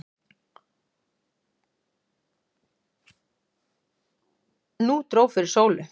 Nú dró fyrir sólu.